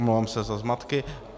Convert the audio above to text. Omlouvám se za zmatky.